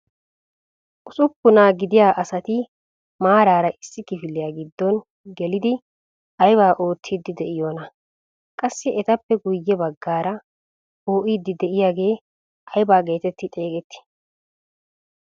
Usuppunaa gidiyaa asati maarara issi kifiliyaa giddo gelidi aybaa oottiidi de'iyoonaa? Qassi etappe guye baggaara poo"iidi de'iyaagee ayba getetti xeegettii?